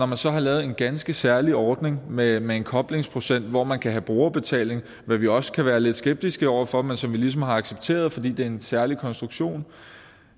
man så har lavet en ganske særlig ordning med med en koblingsprocent hvor man kan have brugerbetaling hvad vi også kan være lidt skeptiske over for men som vi ligesom har accepteret fordi det er en særlig konstruktion